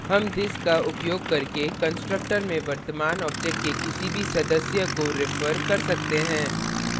हम this का उपयोग करके constructor में वर्तमान object के किसी भी सदस्य member को refer कर सकते हैं